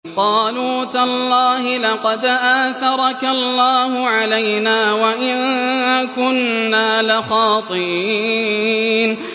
قَالُوا تَاللَّهِ لَقَدْ آثَرَكَ اللَّهُ عَلَيْنَا وَإِن كُنَّا لَخَاطِئِينَ